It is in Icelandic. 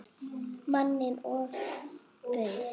Manni ofbauð.